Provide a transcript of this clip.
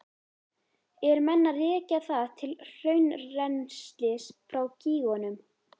Eru menn að rekja það til hraunrennslis frá gígunum?